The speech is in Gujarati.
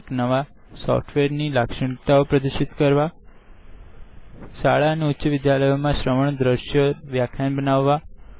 એક નવા સોફ્ટવેર ની લાક્ક્ષણીતાઓ પ્ર્દીષિત કરવા શાળા અને ઉચ્ચ વિદ્યાલયોમાં શ્રવણ દ્રશ્યઓ વ્યાખ્યાન બનાવવા